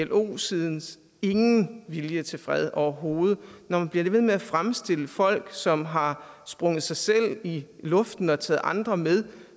plo siden ingen vilje er til fred overhovedet når man bliver ved med at fremstille folk som har sprunget sig selv i luften og taget andre med